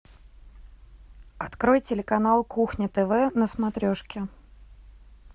открой телеканал кухня тв на смотрешке